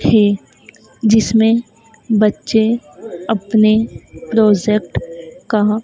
थे जिसमें बच्चे अपने प्रोजेक्ट का--